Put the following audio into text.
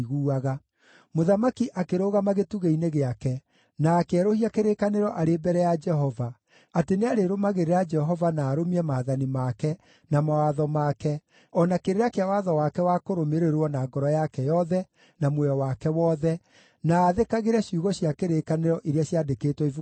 Mũthamaki akĩrũgama gĩtugĩ-inĩ gĩake na akĩerũhia kĩrĩkanĩro arĩ mbere ya Jehova, atĩ nĩarĩrũmagĩrĩra Jehova na arũmie maathani make, na mawatho make, o na kĩrĩra kĩa watho wake wa kũrũmĩrĩrwo na ngoro yake yothe na muoyo wake wothe, na aathĩkagĩre ciugo cia kĩrĩkanĩro iria ciandĩkĩtwo ibuku-inĩ rĩu.